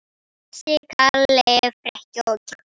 Bjössi, Kalli, Frikki og Kiddi!